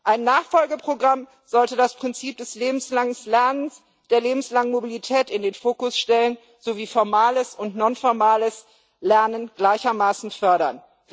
Ein Nachfolgeprogramm sollte das Prinzip des lebenslangen Lernens, der lebenslangen Mobilität in den Fokus stellen, sowie formales und non formales Lernen gleichermaßen fördern.